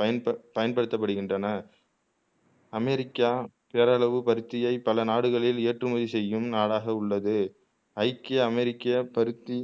பயன்ப பயன்படுத்த படுகின்றன அமெரிக்கா பேரளவு பருத்தியை பல நாடுகளில் ஏற்றுமதி செய்யும் நாடாக உள்ளது ஐக்கிய அமெரிக்க பருத்தி